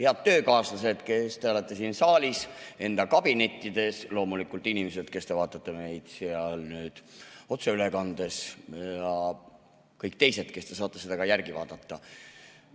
Head töökaaslased, kes te olete siin saalis või enda kabinetis, ja loomulikult inimesed, kes te vaatate meid otseülekandes, ja ka kõik teised, kes te saate seda järele vaadata!